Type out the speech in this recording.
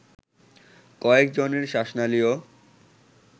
কয়েকজনের শ্বাসনালীও